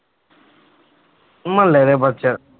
ਮੁਹੱਲੇੇ ਦੇ ਬੱਚੇ।